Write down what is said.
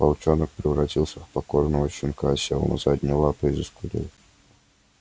волчонок превратился в покорного щенка сел на задние лапы и заскулил